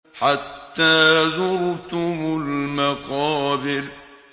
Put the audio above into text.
حَتَّىٰ زُرْتُمُ الْمَقَابِرَ